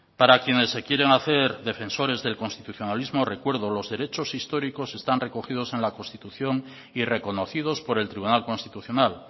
para quienes se quieren hacer defensores del constitucionalismo recuerdo los derechos históricos están recogidos en la constitución y reconocidos por el tribunal constitucional